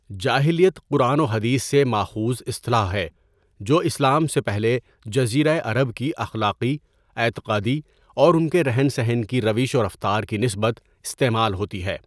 جاہلیت قرآن و حدیث سے ماخؤذ اصطلاح ہے جو اسلام سے پہلے جزیرۂ عرب کی اخلاقی، اعتقادی اور ان کے رہن سہن کی روش و رفتار کی نسبت استعمال ہوتی ہے.